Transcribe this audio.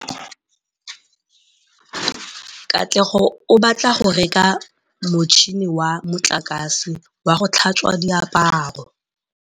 Katlego o batla go reka motšhine wa motlakase wa go tlhatswa diaparo.